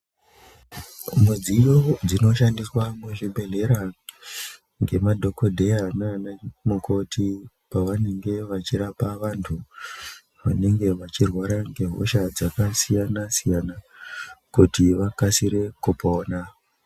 Mudziyo dzinoshandiswa muzvibhedhlera ngemadhokodheya naana mukoti pavanenge vachirapa vantu vanenge vachirwara ngehosha dzakasiyana siyana kuti vakasire kupona.